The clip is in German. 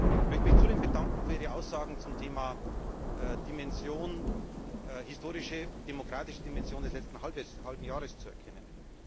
Ich möchte mich zudem bedanken für Ihre Aussagen zum Thema Dimension, die historische und demokratische Dimension des letzten halben Jahres zu erkennen.